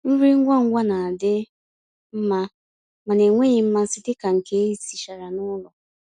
nrí ngwá ngwá ná-àdị́ mmá mànà ènwéghị́ mmàsí dika nkè èsìchàrà n'ụ́lọ̀.